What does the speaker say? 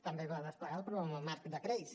també es va desplegar el programa marc de crèdits